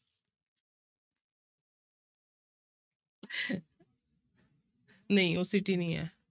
ਨਹੀਂ ਉਹ pretty ਨੀ ਹੈ।